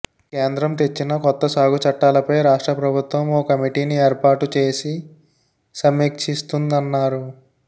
కేంద్రం తెచ్చిన కొత్త సాగు చట్టాలపై రాష్ట్ర ప్రభుత్వం ఓ కమిటీని ఏర్పాటు చేసి సమీక్షిస్తుందన్నారు